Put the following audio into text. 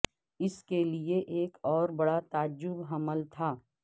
اس کے لئے ایک اور بڑا تعجب حمل تھا